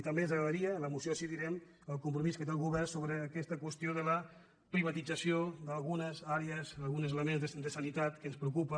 i també ens agradaria en la moció així ho direm el compromís que té el govern sobre aquesta qüestió de la privatització d’algunes àrees alguns elements de sa·nitat que ens preocupa